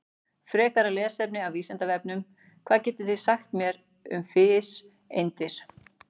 Frekara lesefni af Vísindavefnum: Hvað getið þið sagt mér um fiseindir?